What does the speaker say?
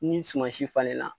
Ni suma si falen la